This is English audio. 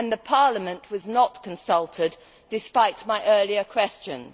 Parliament was not consulted, despite my earlier questions.